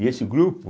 E esse grupo